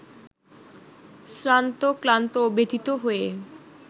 শ্রান্ত ক্লান্ত ও ব্যথিত হয়